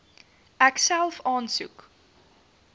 ek self aansoek